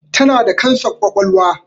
Tana da kansar ƙwaƙwalwa